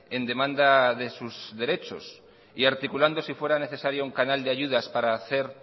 en demanda de sus derechos y articulando si fuera necesario un canal de ayudas para hacer